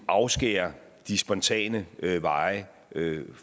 afskære de spontane veje